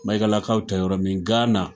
Maigalakaw tɛ yɔrɔ min Ghana